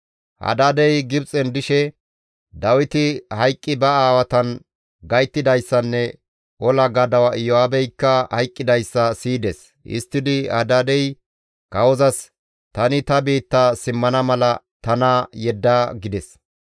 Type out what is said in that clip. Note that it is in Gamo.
Hadaadey Gibxen dishe Dawiti hayqqi ba aawatan gayttidayssanne ola gadawa Iyo7aabeykka hayqqidayssa siyides; histtidi Hadaadey kawozas, «Tani ta biitta simmana mala tana yedda» gides.